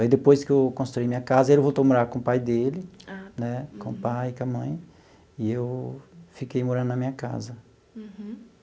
Aí, depois que eu construí minha casa, ele voltou a morar com o pai dele né, com o pai, com a mãe, e eu fiquei morando na minha casa. Uhum.